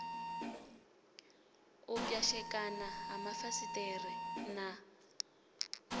u pwashekana ha mafasiṱere na